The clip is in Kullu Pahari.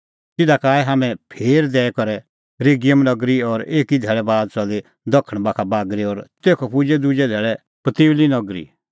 तिधा का आऐ हाम्हैं फेर दैई करै रेगियम नगरी और एकी धैल़ै बाद च़ली दखण बाखा बागरी और तेखअ पुजै दुजै धैल़ै पुतियुली नगरी